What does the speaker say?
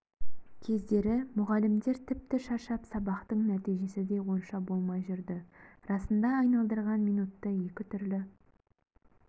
кездері мұғалімдер тіпті шаршап сабақтың нәтижесі де онша болмай жүрді расында айналдырған минутты екі түрлі